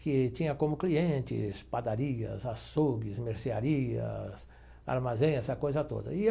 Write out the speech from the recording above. que tinha como clientes padarias, açougues, mercearias, armazéns, essa coisa toda e eu.